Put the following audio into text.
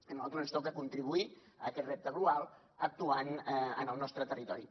a nosaltres ens toca contribuir a aquest repte global actuant en el nostre territori